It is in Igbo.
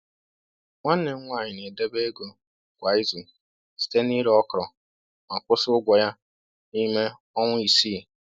Nwanne m nwanyị na-edebe ego kwa izu site n’ire okra ma kwụsị ụgwọ ya n’ime ọnwa isi